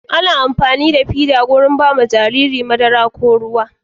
Ana amfanida fida wajan bawa Jariri madara ko ruwa